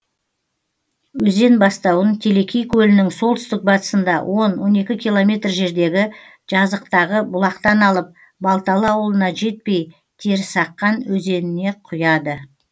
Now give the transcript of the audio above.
өзен бастауын телекей көлінің солтүстік батысында он он екі километр жердегі жазықтағы бұлақтан алып балталы ауылына жетпей терісаққан өзеніне құяды